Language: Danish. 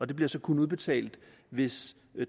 det bliver så kun udbetalt hvis